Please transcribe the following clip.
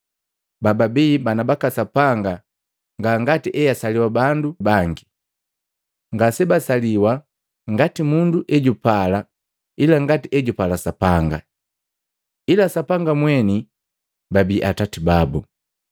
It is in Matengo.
Bababi bana baka Sapanga nga ngati easaliwa bandu bangi, ngasebasaliwi ngati mundu ejupala ila ngati ejupala Sapanga, ila Sapanga mweni babii Atati babu.